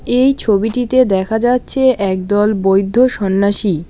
এই ছবিটিতে দেখা যাচ্ছে একদল বৈদ্ধ সন্ন্যাসী।